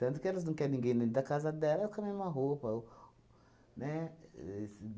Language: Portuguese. Tanto que elas não quer ninguém dentro da casa dela com a mesma roupa ou, né? Esse